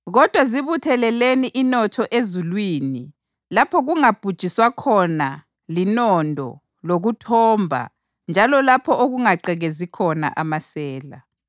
Kodwa zibutheleleni inotho ezulwini lapho kungabhujiswa khona linondo lokuthomba njalo lapho okungagqekezi khona amasela.